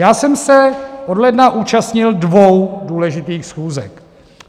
Já jsem se od ledna účastnil dvou důležitých schůzek.